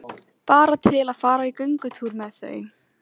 Bara til að fara í göngutúr með þau.